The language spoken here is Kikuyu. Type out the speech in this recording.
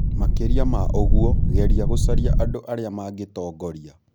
Makĩria ma ũguo, geria gũcaria andũ arĩa mangĩtongoria.